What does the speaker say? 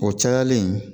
O cayalen